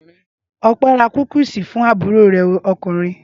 Ọpẹ́ ra kúkísì fún àbúrò rẹ̀ ọkùnrin.